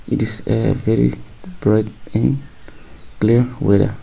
it is a very bright clear whether